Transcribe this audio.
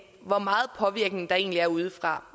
hvor meget påvirkning der egentlig er udefra